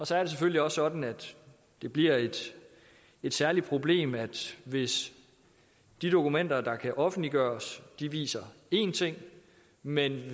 så er det selvfølgelig også sådan at det bliver et særligt problem hvis de dokumenter der kan offentliggøres viser én ting mens